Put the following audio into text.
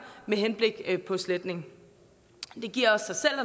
med henblik på sletning det giver også sig selv